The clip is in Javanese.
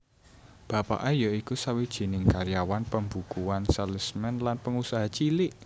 Bapake ya iku sawijining karyawan pembukuan salesman lan pengusaha cilik